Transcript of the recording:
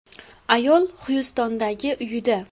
Ayol Xyustondagi uyida.